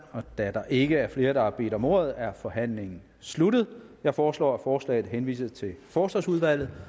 da der ikke er flere der har bedt om ordet er forhandlingen sluttet jeg foreslår at forslaget henvises til forsvarsudvalget